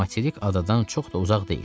materik adadan çox da uzaq deyil.